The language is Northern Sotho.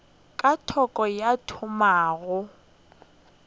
ka thoko ka thoma go